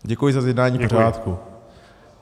Děkuji za zjednání pořádku.